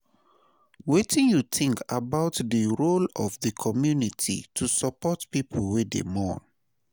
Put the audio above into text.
Wetin you think about di role of di community to support people wey dey mourn?